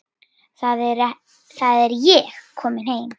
Þar er ég komin heim.